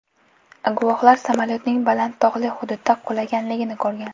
Guvohlar samolyotning baland tog‘li hududda qulaganligini ko‘rgan.